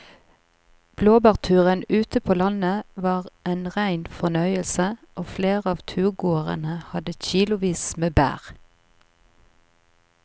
Blåbærturen ute på landet var en rein fornøyelse og flere av turgåerene hadde kilosvis med bær.